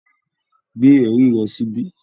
Gbé ẹ̀rí rẹ síbí